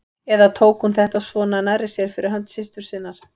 Eða tók hún þetta svona nærri sér fyrir hönd systur sinnar?